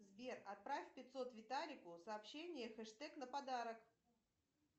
сбер отправь пятьсот виталику сообщение хештег на подарок